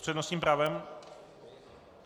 S přednostním právem?